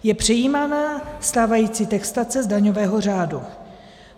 Je přejímána stávající textace z daňového řádu.